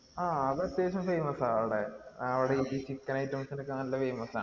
ആഹ് അത് അത്യാവശ്യം famous ആ അവിടെ അവിടെ ഈ chicken items നോക്കെ നല്ല famous ആ